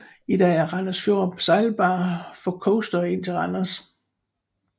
I dag er Randers Fjord sejlbar for coastere ind til Randers